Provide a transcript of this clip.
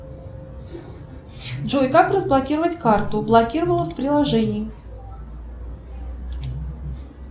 джой как разблокировать карту блокировала в приложении